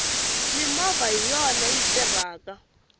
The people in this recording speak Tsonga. mimovha hiyona yi tirhaka